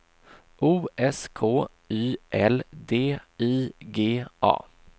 O S K Y L D I G A